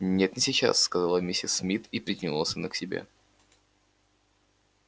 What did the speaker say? нет не сейчас сказала миссис мид и притянула сына к себе